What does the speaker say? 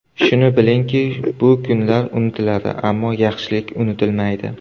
Shuni bilingki, bu kunlar unutiladi, ammo yaxshilik unutilmaydi!